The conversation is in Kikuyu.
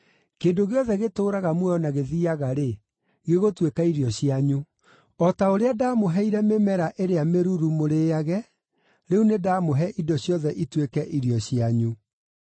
Kĩndũ gĩothe gĩtũũraga muoyo na gĩthiiaga-rĩ, gĩgũtuĩka irio cianyu. O ta ũrĩa ndamũheire mĩmera ĩrĩa mĩruru mũrĩĩage, rĩu nĩ ndamũhe indo ciothe ituĩke irio cianyu.